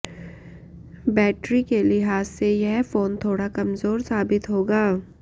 battery के लिहाज से यह फोन थोड़ा कमजोर साबित होगा